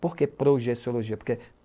Por que projeciologia?